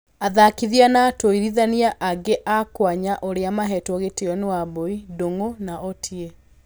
Athakithia na atũĩrithania angĩ a kwnya arĩa mahetwo gĩtio nĩ wambui, ndung'u na otie.